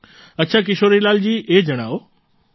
અચ્છા કિશોરીલાલજી એ જણાવો